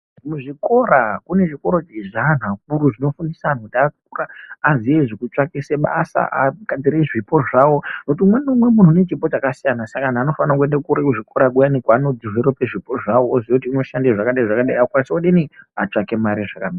Muzvikora kune zvikora zvaanhu akuru zvinofundisa anhu akura aziye zvekutsvakise basa agadzire zvipo zvawo ngekuti umweni neumweni munhu une chipo chakasiyana saka anofane kuende kuzvikora kuyana kwaano dhivherope zvipo zvawo oziye kuti unoshande zvakadayi zvakadayi akukwanisa odini otsvake mare zvakanaka.